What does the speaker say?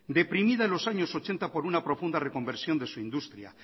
deprimida en los años ochenta por una profunda reconversión de su industria